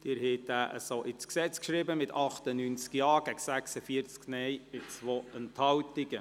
Sie haben diesen Antrag so ins Gesetz geschrieben, mit 98 Ja- gegen 46 Nein-Stimmen bei 2 Enthaltungen.